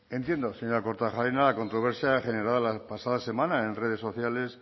entiendo señora kortajarena la controversia generada la pasada semana en redes sociales